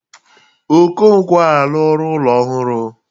Okonkwo arụla ụlọ ọhụrụ.